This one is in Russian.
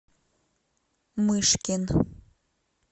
мышкин